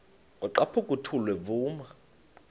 kwaqhaphuk uthuli evuma